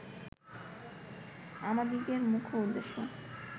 আমাদিগের মুখ্য উদ্দেশ্য